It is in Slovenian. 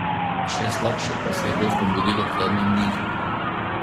Še slabše pa se je gostom godilo v zadnjem nizu.